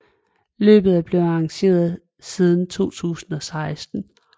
Løbet er blevet arrangeret siden 2016